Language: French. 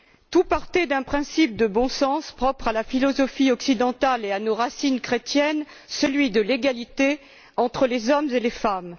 Tout partait d'un principe de bon sens propre à la philosophie occidentale et à nos racines chrétiennes, celui de l'égalité entre les hommes et les femmes.